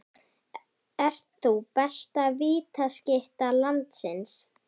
Ert þú besta vítaskytta landsins?